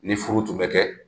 Ni furu tun bɛ kɛ.